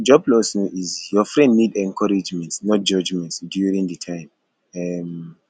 job loss no easy your friend need encouragement not judgement during di time um